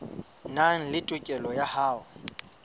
nang le tokelo ya ho